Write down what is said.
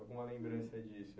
Alguma lembrança disso?